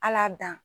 Ala dan